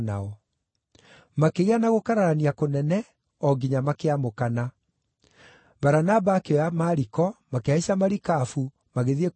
Makĩgĩa na gũkararania kũnene o nginya makĩamũkana. Baranaba akĩoya Mariko, makĩhaica marikabu, magĩthiĩ Kuporo,